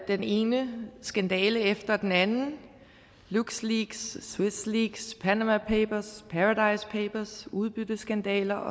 den ene skandale efter den anden luxleaks swiss leaks panama papers paradise papers udbytteskandaler